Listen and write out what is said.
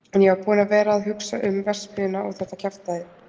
En ég var búinn að vera að hugsa um. verksmiðjuna og þetta kjaftæði.